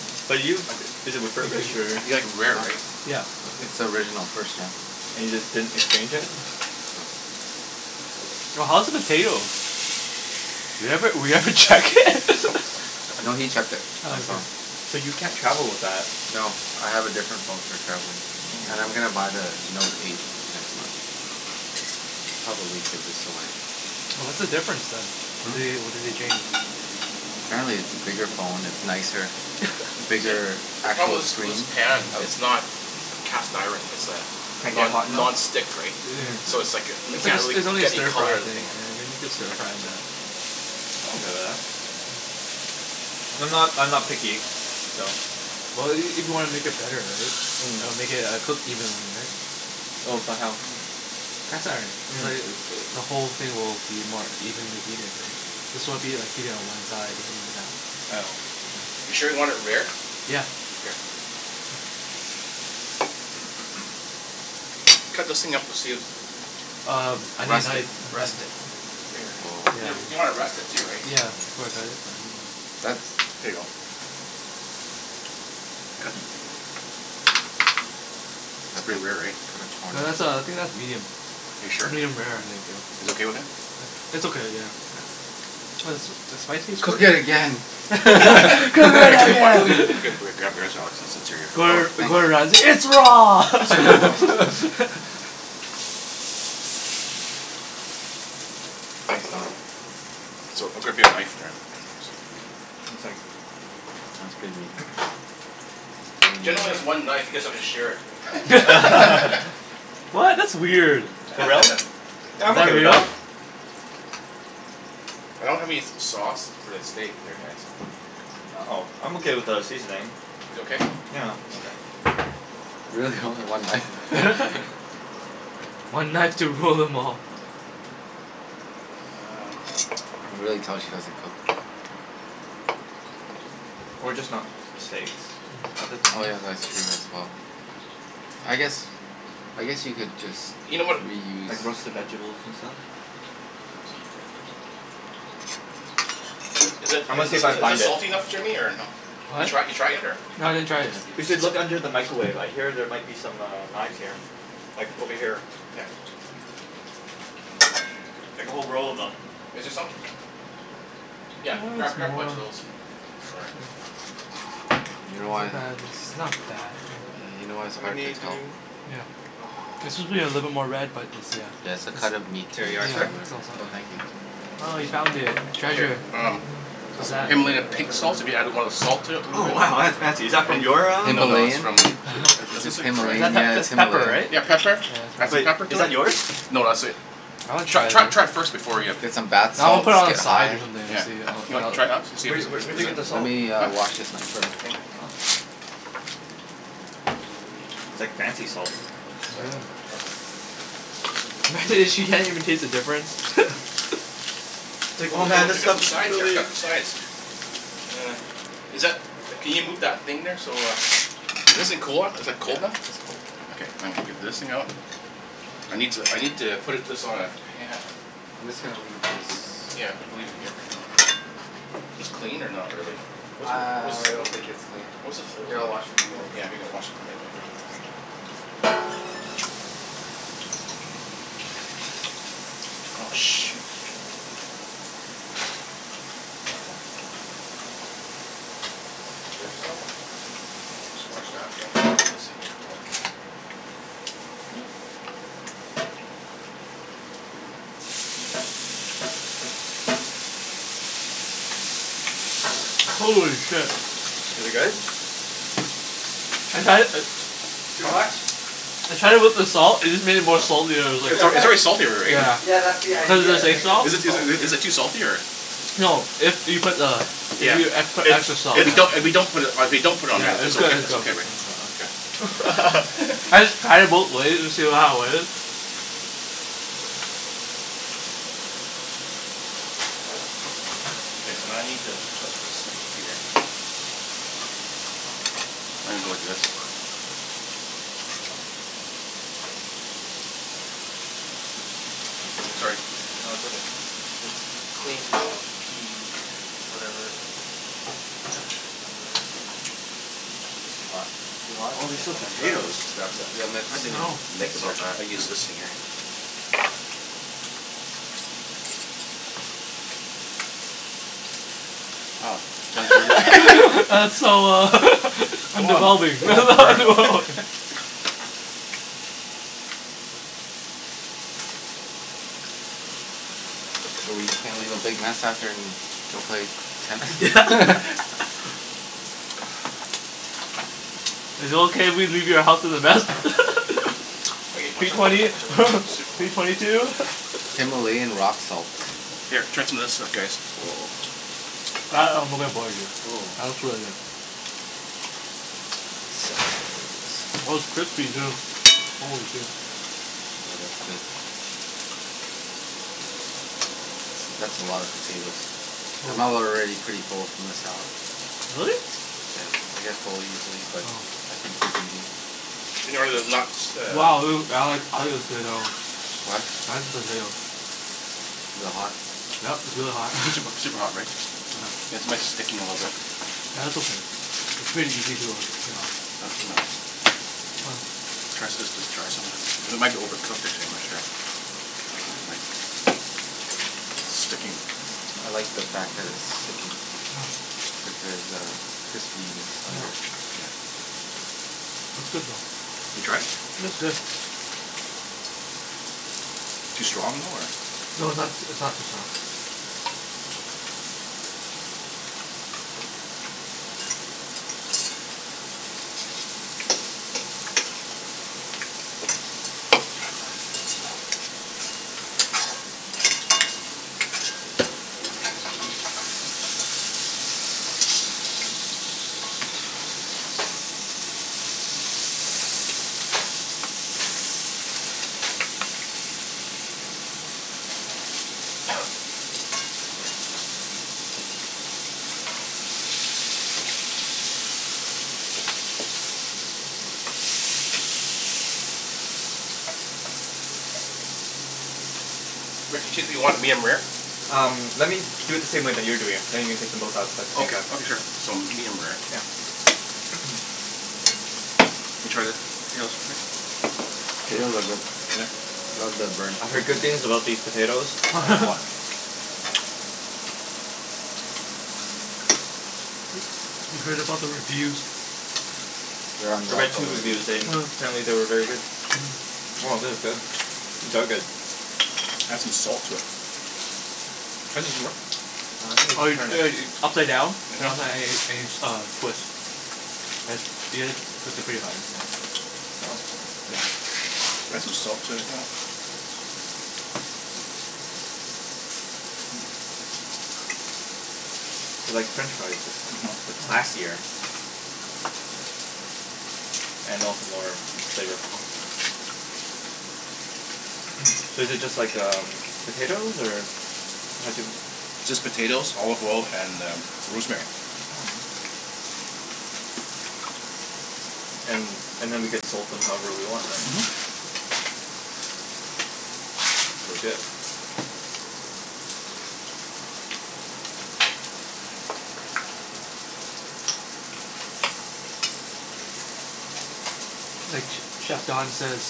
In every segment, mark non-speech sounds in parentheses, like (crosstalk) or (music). Oh, 'bout you? It is refurbished or? You like it rare, right? Yeah. It's the original. First gen. And you just didn't exchange it? (laughs) No. Oh, how's the potatoes? We haven't, we haven't checked it. (laughs) I know he checked it. I Oh. saw him. So you can't travel with that? No. I have a different phone for traveling and I'm gonna buy the Note eight next month. Probably give this away. Oh, what's the difference then? They, Hmm? what did they change? Apparently, it's a bigger phone. It's nicer, bigger See, the problem actual was was screen. the pan. It's not cast iron. It's uh Can't get non- hot enough? non-stick, right? (noise) So it's like, m- It's like can't a, get really it's only a get any stir-fry color of the thing thing. rare. Yeah I think you can stir-fry in that. I'm not I'm not picky, so Well, i- if you wanna make it better, right? I'll make it. It'll cook evenly, right? Oh but how? Cast iron. It's like, the whole thing will be more evenly heated, right? This won't be like heated on one side (inaudible) You sure you want it rare? Yeah. Okay. Cut those thing up to see if Um, I need a Rest knife. it. Rest it. You (noise) w- you want to rest it too, right? Yeah, (inaudible) That's Here you go. Cut It's pretty rare, right? No. That's (inaudible) uh, I think that's medium. Are you sure? Medium rare, I think, yeah. You guys okay with that? It's okay, yeah. Okay. Was the spiciest Cook it (inaudible) again. (laughs) (laughs) Cook it again. I'll (laughs) get, grab yours Alex, since since you're Oh, Gor- thanks. Gordon Ramsay. It's raw! (laughs) (laughs) Thanks Don. So, I'll grab me a knife. (inaudible) One sec. Mine's pretty medium. (noise) Jen only has one knife you guys have to share it. (laughs) (laughs) What? That's weird. For Is real? Yeah, I'm okay that with that. real? I don't have any sauce for the steak here guys. Oh, I'm okay without a seasoning. You okay? Yeah. Okay. Really, only one knife? (inaudible) (laughs) (laughs) Okay. One knife to rule them all. Um You can really tell she doesn't cook. Or just not steaks. Other Mm. Oh things. yeah, that's true as well. I guess, I guess you could just You know what, oh Like reuse hang roasted on. vegables and stuff. This'll be good. L- is it I'm in gonna see th- if I can is this find it. salty enough Jimmy, or no? You What? try you try it yet, or No, I didn't try (noise) it We yet. should look under the micawave. I hear there might be some uh knives here. Like, over Okay. here. Yeah. Oh, where is (noise) she? Like a whole roll of them. Is there some? Yeah, (noise) That's grab grab a more bunch of those. Or (noise) You know It's why not bad. It's not bad. Yeah. Yeah, you know why it's How hard to many do we tell. ne- Yeah. oh, okay. One It more? should be a little bit more red, but it's, Yeah, yeah. it's the cut of meat too, There you are, It's, yeah. so sir. yeah. Oh, thank It's (inaudible) you. Oh, you found it. Here, Treasure. um What's Just that? Himalaya pink salt, if you added want a salt to it a Oh little bit? wow, that's fancy. Is that from And, your ah no no, it's Himalayan. Himalayan? from (laughs) Is this Is Himalayan? that Yeah, pep- it's it's pepper, Himalayan. right? Yeah, pepper. Yeah, it's Add some pepper. Wait. pepper Is to that it. yours? No, that's sweet. I wanna Tr- try this. tr- try it first before ya Get some bath No, I'm gonna salts, put it on the get side high. or something Yeah. to see how You it wanna all try it out? See if it Wh- wh- is is where'd is you it, get the Let salt? me huh? uh wash this knife, fir- (inaudible) Oh. It's like fancy salt. Sorry. Yeah. Go Go ahead. ahead. Imagine if she can't even taste the difference? (noise) (laughs) It's like Oh oh w- oh man, wait, this I got stuff some is sides here. I really forgot the sides. (noise) Is that, can you move that thing there so uh This a cooler is like Yeah, cold then? it's cold. Okay, I'm gonna get this thing out I need to I need to put it this on a pan I'm just gonna leave this Yeah, we can leave it here for now. This clean, or not really? I What's a what I I don't what's think it's (inaudible) clean. What is it Here, holding? I'll wash it for you. Oh yeah, I think I wash it from you (inaudible) Oh, shoot. Is this dish soap? Unless you wash that and I Shh. get this thing here going. (noise) Holy shit. Is it good? (noise) I'd had it uh Too Huh? much? I tried it with the salt. It just made it more salty. I was like It's al- it's already salty r- right? (laughs) Yeah. Yeah, that's the Cuz (noise) of idea. the It sea makes it salt. Is m- it is it saltier. is it too salty or No, if you put the if Yeah. you e- put It's extra salt, If it's we yeah. don't if we don't put it if we don't put it on there Yeah, it's it's good. okay It's it's go- okay, right? Okay. (inaudible) (laughs) (laughs) I (laughs) just tried it both ways to see w- how it was. Okay, I need to put this in here. I'm gonna go like this. Here. Sorry. No, it's okay. (noise) It's clean now p whatever your number is. I think it's too hot. Too hot? Oh Yeah, there's still I'm gonna grab the potatoes. grab the The oven mitts. I (noise) I didn't even know. (noise) mitts think here. about that. I'll use this thing here. (noise) Oh, Oh. (noise) Jen's really (laughs) That's so (laughs) uh (laughs) Come I'm on. A developing. little burn, no? (laughs) (laughs) (noise) (noise) So we just gonna leave a big mess after and go play Yeah. (noise) tennis? (laughs) (laughs) Is it okay if we leave your house as a mess? (laughs) Okay, (noise) watch P out watch twenty out watch out watch out. Sneak (laughs) behind P twenty two. (laughs) Himalayan rock salts. Here, try some of this stuff guys. Woah. That I'm looking forward to. Ooh. That looks really good. (inaudible) (noise) Oh, it's crispy, too. Holy shoe. Oh, that's good. S- that's a lot of potatoes. (noise) I'm al- Oh. already pretty full from the salad. Really? Yeah, I get full easily but Oh. Oh. I can keep eating. You know where the knocks (noise) uh Wow, (inaudible) potato. What? Eyes potato. Is it hot? (noise) Yep, it's really hot. Is it super (laughs) super hot, right? Mm. Yeah. Yeah. It's my sticking a little bit. Yeah, that's okay. It's pretty easy to uh g- get off. Not so mu- Oh. Try s- this this try some of this. It might be overcooked actually. I'm not sure. Ah. Like sticking. I like the fact that it's sticking. Oh. Cuz there's a crispiness under. Yep. Yeah. It's good though. (noise) You tried it? It's good. (noise) Too strong, though, or No, it's not s- it's not too strong. (noise) (noise) (noise) (noise) Rick, the chickpea, you want it medium-rare? Um, let me do it the same way that you're doing it, then you can take them both out at by the same Okay, time. okay sure. So medium-rare. Yeah. (noise) (noise) You (noise) try the (inaudible) The potatoes are good. (noise) Love the burnt I've heard good things crispiness. about these potatoes. I am wa- (laughs) (noise) You heard about the reviews. They're on I Yelp read two already. reviews and Mm. apparently they were very good. Mhm. Oh, thith is good. These are good. Add some salt to it. (noise) How does this work? Ah, I think you Oh just you turn it. should ea- upside down. uh-huh. (inaudible) Uh, twist. As, you gotta twist it pretty hard, yeah. Oh. (noise) Yeah. Add some salt to it, yeah. (noise) (noise) (noise) (noise) They're like French fries but c- Mhm. (noise) but classier. Mhm. (noise) And also more flavorful. (noise) So is it just like um, potatoes? Or How'd you m- It's just potatoes, olive oil, and uh rosemary. Mm. (noise) (noise) And and (noise) then we can (noise) salt them however we want, right? Mhm. That's legit. (noise) Like ch- chef Don says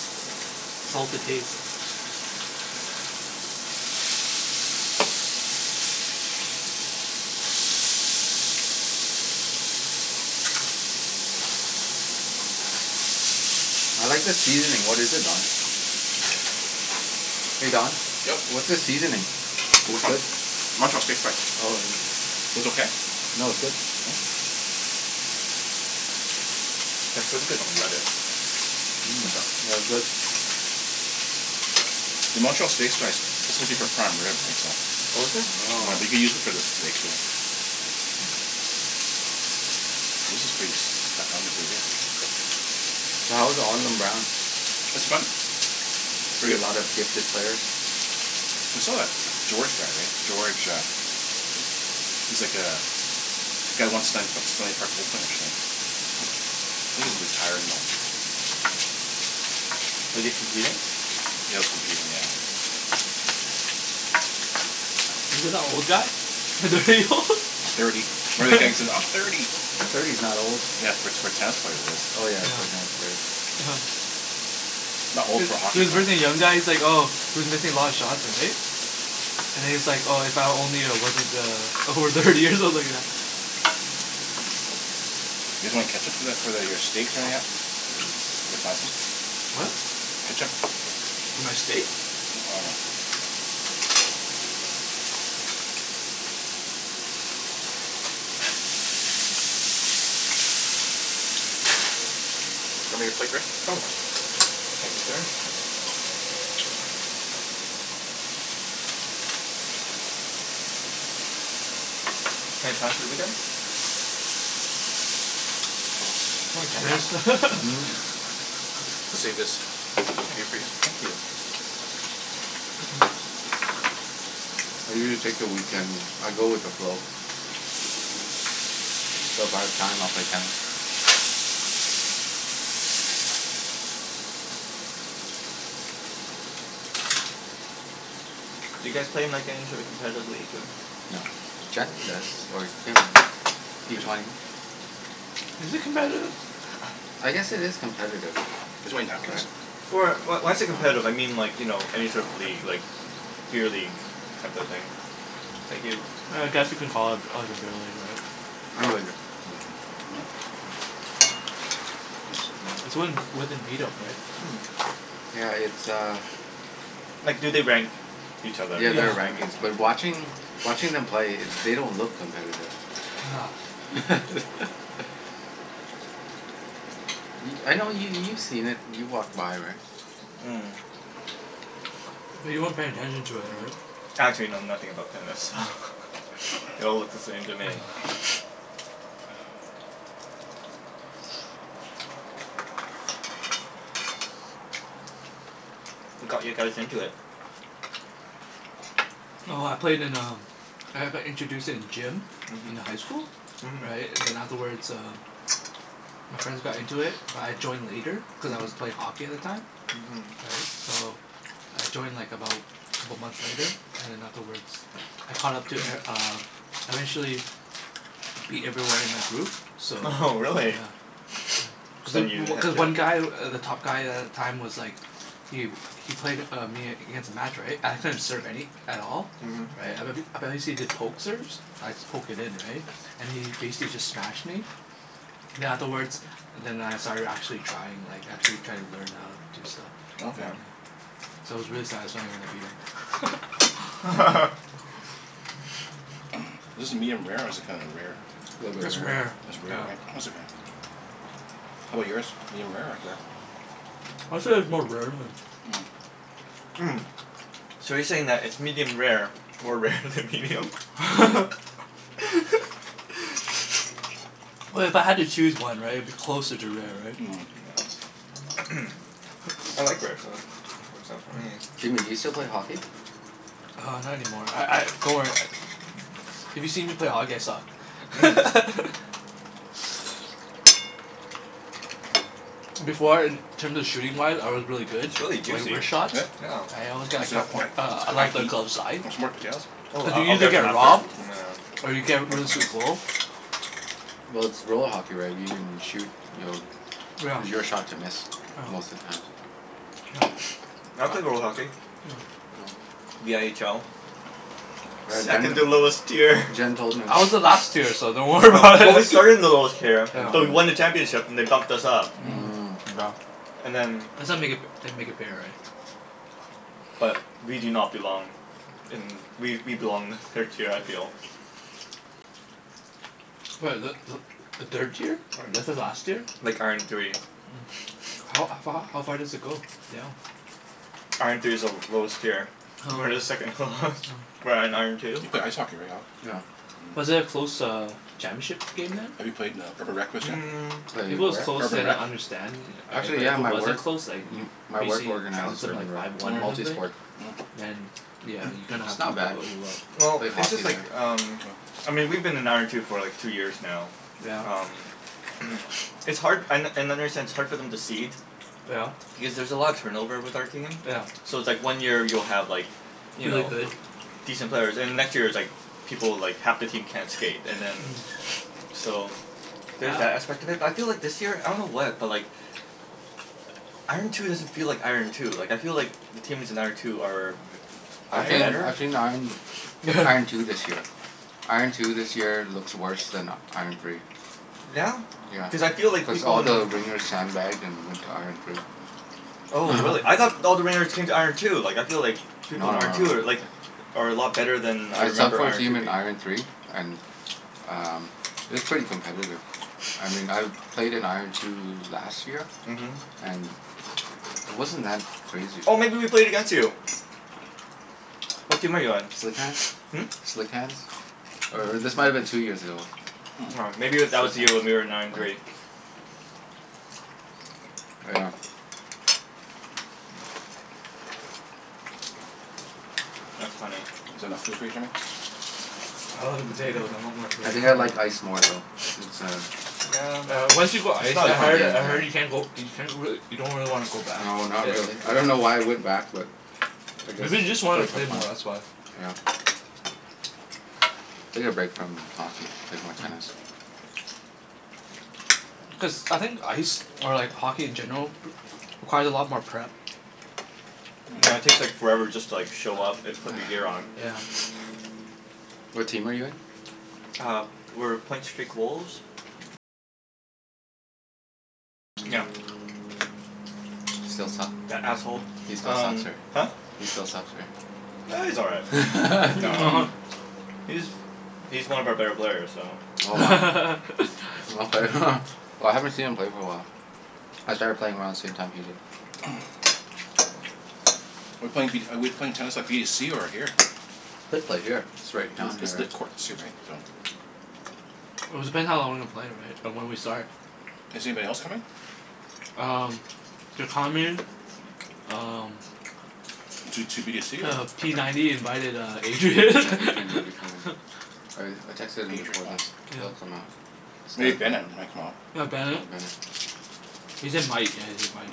salt to taste. (noise) I like the seasoning. What is it, Don? Hey Don? Yep. What's the seasoning? For It's which one? good. Montreal steak spice. Oh, yeah. Was okay? No, it's good. Mm. (noise) (noise) It's pretty good on lettuce. (noise) (noise) Mhm. What's that? No, it's good. (noise) The (noise) Montreal steak spice, it's supposed to be for prime rib right? So Oh, is it? Yeah, I Oh. think they use it for the steak too. This is pretty stuck on there pretty good. (noise) So how was (inaudible) (noise) It's fun. You Pretty see a good. lot of gifted players? We still got George guy, right? George uh he's like (noise) uh, guy won Stan- P- Stanley Park Open, actually. Oh. I think he's Oh. retired now. Was he competing? Yeah, he was competing, yeah. (noise) Is it that old guy? (inaudible) old? Thirty. (inaudible) "I'm (laughs) thirty." Thirty's not old. Yeah, for t- for a tennis player it is. Oh, yeah. For a tennis Yeah. player. (laughs) Not old Is for a hockey is for player. birthing young guys like oh, he was missing a lot of shots, right? And he's like, "Oh, if only I wasn't uh over thirty" or something like that. You guys want any ketchup for that for th- for your steaks or anything at? Mm. We could find some. (noise) What? Ketchup? For my steak? Oh no. (noise) Show me your plate, Rick? (noise) (noise) Oh, yeah. Thank you, sir. Thanks. Any plans for the weekend? (noise) (noise) (noise) Probably tennis. (laughs) (laughs) Mhm. Save (noise) this o- Oh, okay for you? thank you. (noise) I usually take the weekend, I go with the flow. (noise) But if I have time, I'll play tennis. (noise) (noise) Do you guys play in like any sort of competitive league, or? (noise) No. Jen does, or Kim. P twenty. (noise) (noise) Is it competitive? I guess it is competitive. (noise) You guys want any napkins? Right? Or wh- why's it competitive? I (inaudible) mean like, you know, any sort of league, like beer league, type of thing? Thank you. (noise) I guess you can call it like a beer (noise) league, right? (noise) I'm good (inaudible) (noise) mm. (noise) (noise) It's Mm. when, within meet-up, right? Yeah, it's uh Mm. (noise) (noise) Like do they rank each other? Yeah, That's there Yeah. are what I mean rankings. But so- watching watching them (noise) (noise) play, they don't look competitive. Yeah. (laughs) Y- I (noise) know yo- you've seen it. You've walked by, right? Mm. (noise) But you weren't paying attention to it, Oh. (noise) right? Actually know nothing about tennis, so (laughs) they all look the same to me. (noise) (noise) (noise) What got you guys into it? (noise) (noise) Oh, I played in um I've I introduced it in gym in the high school. Mhm. Mhm. Right? And then afterwards (noise) uh (noise) my friends got into it but I joined later cuz I was play hockey at the time. Mhm. (noise) Right? So I joined like about couple months later. And then (noise) afterwards I caught up to e- uh I Mhm. eventually (noise) beat everyone in my group. So Oho, really? yeah (noise) Cuz i- Then you w- had cuz to one guy, w- the top guy a- at the time was like (noise) Yu. He played uh me against a match, right? I couldn't serve any at all. (noise) Right? I bet h- I bet he see the poke serves? I'd just poke it in, right? And he basically just smashed (noise) me Mhm. then afterwards then I started actually trying. Like actually trying to learn how (noise) do stuff, (noise) you Okay. Okay. know? So it was really satisfying when I beat him. (noise) (laughs) (laughs) (noise) Is this medium-rare, or is it kinda rare? (noise) A (noise) little bit It's rare, rare. It's rare, yeah. right? It's okay. How 'bout yours? medium-rare or rare? (noise) (noise) I'd say it's more rare than Mm. (noise) Mm, (noise) so you're saying that it's medium rare more rare than medium? (noise) (laughs) (noise) (laughs) Well, if I had to choose one, right? It'd be closer to rare, (noise) right? (noise) Mm. Yeah. (noise) (noise) I like rare, so works out for (noise) me. Jimmy, you still play hockey? Uh, not (noise) any more. I I, don't worry if you see me play hockey I Mm. suck. (laughs) (noise) Before in terms of shooting-wise I was really (noise) good It's really like juicy. (noise) wrist shots? Yeah? Yeah. I always got a It's a a coup- it's uh high glove the heat. glove side. Want some more potatoes? Oh, Did I you I'll usually get some get after, robbed? Mhm. Or you nyeah, get rid of finish this. some (noise) goal? (noise) Well, it's roll hockey, right? If you can shoot you'll (noise) Yeah. it was your shot to miss, most of the (noise) time. Yeah. (noise) I play roll hockey. (noise) (noise) No. Yeah. (noise) The n h l. (noise) (noise) (noise) Yeah, Second to Yeah. lowest tier. Jen Jen (noise) told me. I was the last tier, (laughs) so (noise) don't worry Oh, about but we it. started in the lowest (noise) tier (noise) Jen but told we me. won the Yeah. championship and they bumped (noise) us up. Mm. Mm. Wow. (noise) And then (noise) That's how make it f- they make it fair, right? but (noise) we do not belong in, we we belong in the third tier I feel. (noise) What, is that Mm. th- the third tier? This is last year? (noise) Like, iron three. Mm. (noise) How (noise) a f- h- how far does it go down? (noise) (noise) Iron three is the l- lowest tier. Oh. Oh. We're the second h- lowest. (noise) We're at iron two. You play ice hockey, right Alan? (noise) Yeah. Was Mm. it a close uh championship game then? Have you played in (noise) a (inaudible) Mm. If it Played was where? close Urban then Rec? I understand yeah, right? Actually But if yeah, it my wasn't work close like m- my work BC organizes trounced them Urban like Rec. five one or Multi something? Mm. sport. Mm. Then yeah, you kinda (noise) It's have not to bad. (noise) (inaudible) Well, Played it's hockey just like there. um (noise) I mean we've been in iron two for like two years now. (noise) Yeah? Um (noise) It's hard an- and I understand it's hard for them to cede (noise) Yeah. because there's a lot of turnover with our team. (noise) Yeah. So it's like one year you'll have like (noise) you Really know, good? decent players. And the next year it's like people, like half the team can't skate, (noise) and then (noise) So there's (noise) that aspect of it. But I feel like this year, I don't know what, but like Mhm. iron two doesn't feel like iron two. Like I feel like the teams in iron two are (noise) (noise) are I've seen better. I've (inaudible) seen iron (noise) iron two (laughs) this year. Iron two this year looks worse than iron three. Yeah? (noise) Yeah. Cuz I feel like Cuz people all in the wringers sand-bagged and went to iron three. (noise) Oh (noise) really? I thought all the ringers came to (laughs) iron two. Like I feel like (noise) No people in no no iron two are no, yeah. like are a lot better than (noise) I I subbed remember for a iron three team in being. iron three and um it was pretty competitive. I mean I've played in iron two (laughs) last (noise) year. Mhm. And it wasn't that crazy. Oh, maybe we played against you? (noise) (noise) (noise) What team are you on? (noise) Slick hands. Hmm? Slick hands. Or or this might have been two years ago. (noise) (noise) M- aw Hmm. maybe Slick w- hands? that Oh. was the year when we were in iron three. (noise) (noise) Yeah. That's funny. (noise) Is it enough food for you, Jimmy? (noise) I love the potatoes. I want (noise) more I potatoes. think I Mm. like ice more though. (noise) Cuz uh (noise) Yeah, Yeah, once it's you go (noise) ice it's not as I different heard (inaudible) I game, heard you yeah. can't go you can't really, you don't really wanna go back. (noise) No, not really. I don't know why I Yeah. went back but I (noise) guess Maybe you just just to wanted play to for play fun. more, that's why. Yeah. (noise) Take a break from hockey. Played more tennis. Mm. (noise) Cuz, I think ice or like hockey in general (noise) requires a lot more prep. (noise) (noise) Yeah, it Mm. takes like (laughs) forever just to like show up and put your gear on. (noise) Yeah. (noise) What team are you in? (noise) Uh, we're Point Streak Wolves. (noise) Still suck? That asshole. He still sucks, Um right? (noise) Huh? He still sucks, right? (noise) Ah, he's all right. No. Mhm. (laughs) (laughs) He's he's one of our better players, so (noise) Oh, wow. Okay. (laughs) Well, I haven't seen him play for a (noise) while. (noise) I started playing around the same time he did. (noise) (noise) We're playing v- we're playing (laughs) tennis by b to c or here? (noise) Could play here. It's (noise) right down here, It's lit right? courts too, right? (noise) It was depending how long we play, right? Or when we start. Is anybody else coming? (noise) Um (inaudible) (noise) Um (noise) Two two b to c or Uh, p ninety invited uh (noise) Yeah, Adrian. (laughs) Adrian might be coming. I r- I texted him Adri- before oh. this. Yeah. He'll come out. Maybe Bennett (inaudible) might come out. (noise) Yeah, Oh, Bennett. Bennett. (noise) (noise) He said might. Yeah, he said might,